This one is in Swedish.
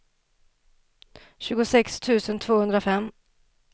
tjugosex tusen tvåhundrafem